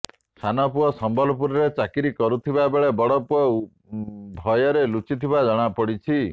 ସାନପୁଅ ସମ୍ବଲପୁରରେ ଚାକିରୀ କରୁଥିବା ବେଳେ ବଡପୁଅ ଭୟରେ ଲୁଚିଥିବା ଜଣାପଡିଛି